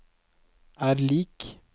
er lik